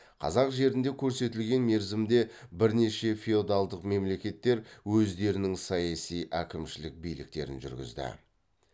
қазақ жерінде көрсетілген мерзімде бірнеше феодалдық мемлекеттер өздерінің саяси әкімшілік биліктерін жүргізді